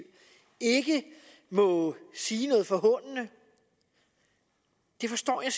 ikke må sige noget forhånende forstår jeg